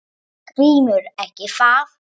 GRÍMUR: Ekki það?